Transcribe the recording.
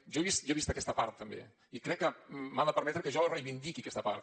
jo he vist aquesta part també i crec que m’ha de permetre que jo reivindiqui aquesta part